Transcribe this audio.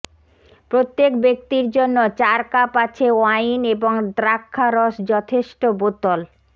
প্রত্যেক ব্যক্তির জন্য চার কাপ আছে ওয়াইন এবং দ্রাক্ষা রস যথেষ্ট বোতল